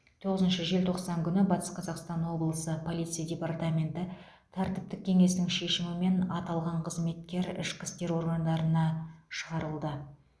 тоғызыншы желтоқсан күні батыс қазақстан облысы полиция департаменті тәртіптік кеңесінің шешімімен аталған қызметкер ішкі істер органдарына шығарылды